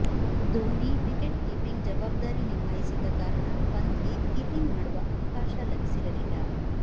Dhoni wicketkeeping ಜವಾಬ್ದಾರಿ ನಿಭಾಯಿಸಿದ್ದ ಕಾರಣ ಪಂತ್ಗೆ ಕೀಪಿಂಗ್ ಮಾಡುವ ಅವಕಾಶ ಲಭಿಸಿರಲಿಲ್ಲ